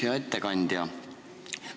Hea ettekandja!